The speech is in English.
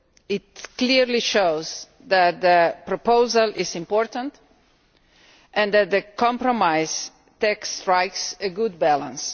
It clearly shows that the proposal is important and that the compromise text strikes a good balance.